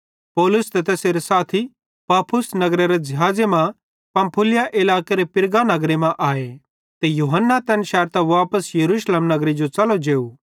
पौलुस ते तैसेरो साथी पाफुस नगरेरां ज़िहाज़े मां पंफूलिया इलाकेरे पिरगा नगरे मां आए ते यूहन्ना तैन शैरतां वापस यरूशलेम नगरे जो च़लो जेव